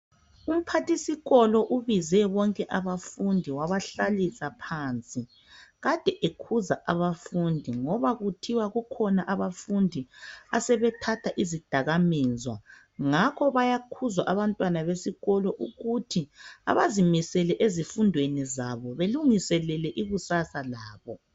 Umphathisikolo ubize bonke abafundi wabahlalisa phansi. Kade ekhuza abafundi ngoba kuthiwa kukhona abafundi asebethatha izidakamizwa. Ngakho bayakhuzwa abantwana besikolo ukuthi abazimisele ezifundweni zabo belungiselele ikusasa labo.